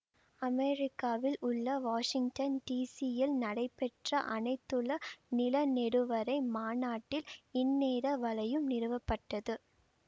அமெரிக்காவில் உள்ள Washington D சியில் நடைபெற்ற அனைத்துல நிலநெடுவரை மாநாட்டில் இந்நேர வலையம் நிறுவப்பட்டது